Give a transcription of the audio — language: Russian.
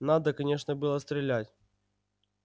надо конечно было стрелять